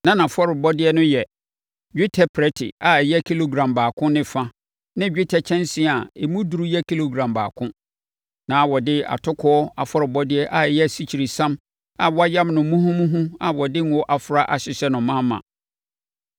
Na nʼafɔrebɔdeɛ no yɛ: dwetɛ prɛte a ɛyɛ kilogram baako ne fa ne dwetɛ kyɛnsee a emu duru yɛ kilogram baako. Na wɔde atokoɔ afɔrebɔdeɛ a ɛyɛ asikyiresiam a wɔayam no muhumuhu a wɔde ngo afra ahyehyɛ no ma ma.